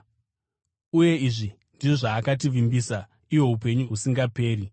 Uye izvi ndizvo zvaakativimbisa, ihwo upenyu husingaperi.